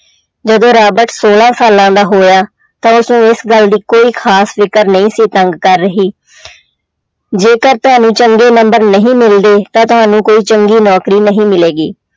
ਜਦੋਂ ਰਾਬਟ ਛੋਲਾਂ ਸਾਲਾਂ ਦਾ ਹੋਇਆ ਤਾਂ ਉਸਨੂੰ ਇਸ ਗੱਲ ਦੀ ਕੋਈ ਖ਼ਾਸ ਫ਼ਿਕਰ ਨਹੀਂ ਸੀ ਤੰਗ ਕਰ ਰਹੀ ਜੇਕਰ ਤੁਹਾਨੂੰ ਚੰਗੇ number ਨਹੀਂ ਮਿਲਦੇ ਤਾਂ ਤੁਹਾਨੂੰ ਕੋਈ ਚੰਗੀ ਨੌਕਰੀ ਨਹੀਂ ਮਿਲੇਗੀ।